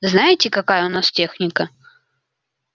знаете какая у нас техника